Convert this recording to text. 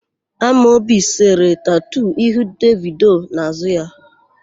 Amobi sere tatu ihu Devido n'àzụ́ ya.